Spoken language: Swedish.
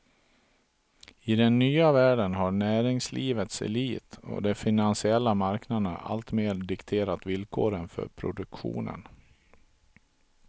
I den nya världen har näringslivets elit och de finansiella marknaderna alltmer dikterat villkoren för produktionen.